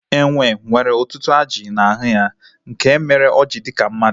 Enwe nwere ọtụtụ ajị n'ahụ ya nke mere o ji dị ka mmadụ